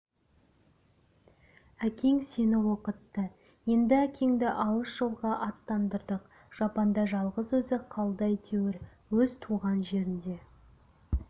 әкең сені оқытты енді әкеңді алыс жолға аттандырдық жапанда жалғыз өзі қалды әйтеуір өз туған жерінде